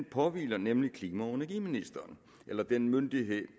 påhviler nemlig klima og energiministeren eller den myndighed